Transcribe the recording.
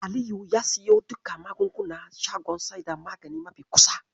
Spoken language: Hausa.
Aliyu ya siyo duka magungunana shagon saida magani mafi kusa.